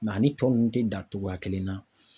ani tɔ ninnu tɛ dan cogoya kelen na